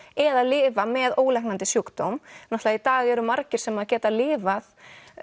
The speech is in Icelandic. eða lifa með ólæknandi sjúkdóm náttúrulega í dag eru margir sem geta lifað